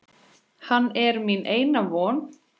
Hann er mín eina von.